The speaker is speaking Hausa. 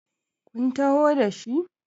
kun taho da shi?